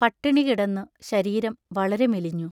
പട്ടിണി കിടന്നു ശരീരം വളരെ മെലിഞ്ഞു.